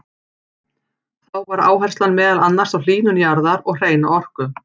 Þá var áherslan meðal annars á hlýnun jarðar og hreina orku.